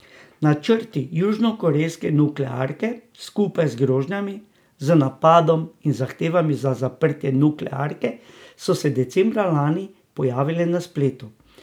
Načrti južnokorejske nuklearke, skupaj z grožnjami z napadom in zahtevami za zaprtje nuklearke, so se decembra lani pojavili na spletu.